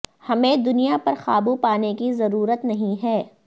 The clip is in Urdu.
ہمیں دنیا پر قابو پانے کی ضرورت نہیں ہے